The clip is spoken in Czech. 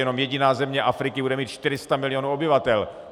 Jenom jediná země Afriky bude mít 400 mil. obyvatel.